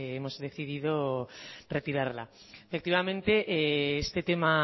pues hemos decidido retirarla efectivamente este tema